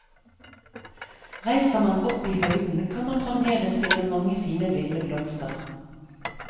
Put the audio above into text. Reiser man opp i høyden kan man fremdeles finne mange fine ville blomster.